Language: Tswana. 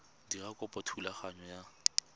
dira kopo ya thulaganyo ya